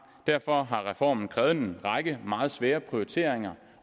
derfor har reformen krævet en række meget svære prioriteringer